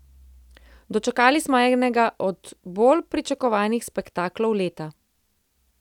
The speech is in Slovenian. Dočakali smo enega od bolj pričakovanih spektaklov leta.